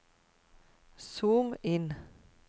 zoom inn